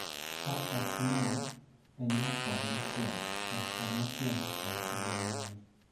Ka ok inyal, penj laktar mar tielo (laktar mar tielo) mondo ogolnigi.